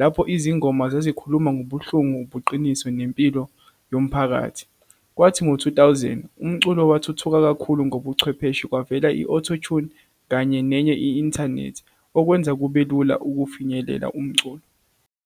lapho izingoma zazikhuluma ngobuhlungu, ubuqiniso, nempilo yomphakathi. Kwathi ngo-two thousand, umculo wathuthuka kakhulu ngobuchwepheshe, kwavela i-auto tune, kanye nenye i-inthanethi, okwenza kube lula ukufinyelela umculo.